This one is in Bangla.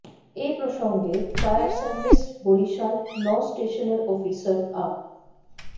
এ প্রসঙ্গে ফায়ার সার্ভিস বরিশাল নৌ স্টেশনের অফিসার আ